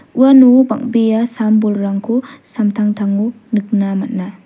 uano bang·bea sam-bolrangko samtangtango nikna man·a.